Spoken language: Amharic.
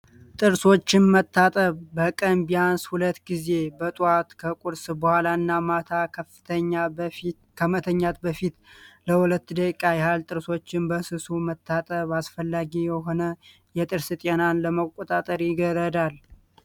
ጥርሶችን መታጠብ በቀን ቢያንስ ሁለት ጊዜ በጧት ከቁርስ በኋላ እና በማታ ከመተኛት በፊት ለ2 ደቂቃ ያህል ጥርሶችን በስሱ መታጠብ አስፈላጊ የሆነ የጥርስ ጤናን ለመቆጣጠር ይረዳል።